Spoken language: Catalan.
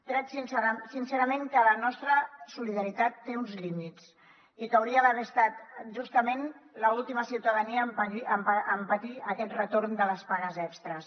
crec sincerament que la nostra solidaritat té uns límits i que hauria d’haver estat justament l’última ciutadania en patir aquest retorn de les pagues extres